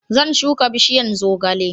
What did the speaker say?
Zan shuka bishiyan zogale